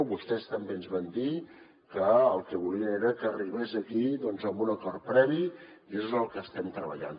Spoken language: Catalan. vostès també ens van dir que el que volien era que arribés aquí doncs amb un acord previ i en això és en el que estem treballant